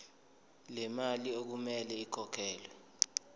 lemali okumele ikhokhelwe